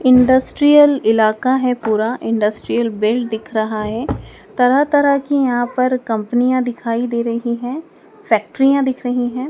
Industrial इलाका है पूरा इंडस्ट्रियल बिल्ड दिख रहा है तरह तरह की यहां पर कंपनियां दिखाई दे रही हैं फैक्ट्रियां दिख रही हैं।